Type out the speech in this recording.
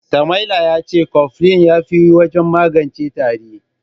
Sama'ila ya ce kofilin ya fi wajen magance tari.